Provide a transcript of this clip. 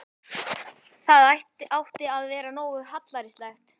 Það átti að vera nógu hallærislegt.